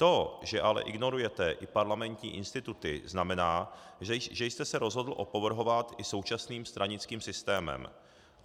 To, že ale ignorujete i parlamentní instituty, znamená, že jste se rozhodl opovrhovat i současným stranickým systémem.